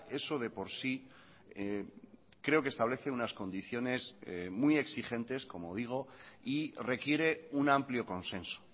eso de por sí creo que establece unas condiciones muy exigentes como digo y requiere un amplio consenso